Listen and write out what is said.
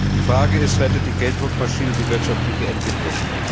Die Frage ist Rettet die Gelddruckmaschine die wirtschaftliche Entwicklung?